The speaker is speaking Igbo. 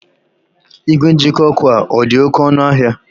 Ìgwè njikọ ọkụ a ọ dị oké ọnụ ahịa?